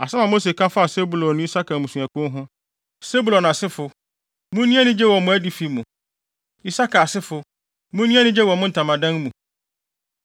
Asɛm a Mose ka faa Sebulon ne Isakar mmusuakuw ho: “Sebulon asefo, munni anigye wɔ mo adifi mu. Isakar asefo, munni anigye wɔ mo ntamadan mu.